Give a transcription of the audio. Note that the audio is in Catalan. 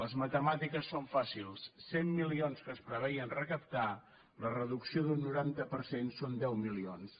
les matemàtiques són fàcils de cent milions que es preveien recaptar la reducció d’un noranta per cent són deu milions